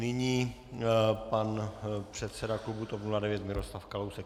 Nyní pan předseda klubu TOP 09 Miroslav Kalousek.